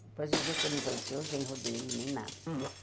Depois os outros ele não conheceu, o genro dele nem nada.